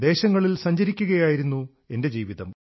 കറങ്ങി നടക്കലായിരുന്നു എന്റെ ജീവിതം